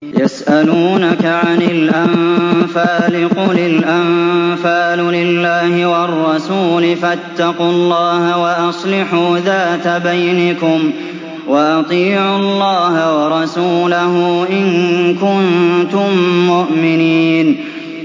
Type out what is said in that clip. يَسْأَلُونَكَ عَنِ الْأَنفَالِ ۖ قُلِ الْأَنفَالُ لِلَّهِ وَالرَّسُولِ ۖ فَاتَّقُوا اللَّهَ وَأَصْلِحُوا ذَاتَ بَيْنِكُمْ ۖ وَأَطِيعُوا اللَّهَ وَرَسُولَهُ إِن كُنتُم مُّؤْمِنِينَ